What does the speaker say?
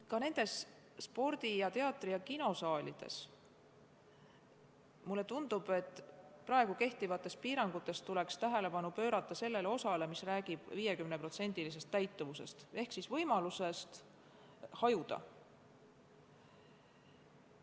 Ka spordi-, teatri- ja kinosaalide puhul tundub mulle, et praegu kehtivatest piirangutest tuleks tähelepanu pöörata sellele osale, mis räägib 50% täituvusest ehk võimalusest hajutada.